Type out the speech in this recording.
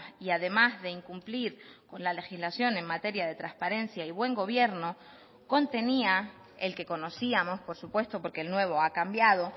y además de incumplir con la legislación en materia de transparencia y buen gobierno contenía el que conocíamos por supuesto porque el nuevo ha cambiado